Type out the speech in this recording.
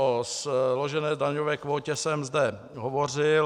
O složené daňové kvótě jsem zde hovořil.